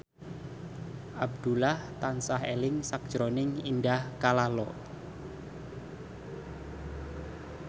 Abdullah tansah eling sakjroning Indah Kalalo